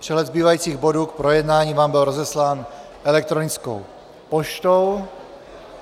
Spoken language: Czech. Přehled zbývajících bodů k projednání vám byl rozeslán elektronickou poštou.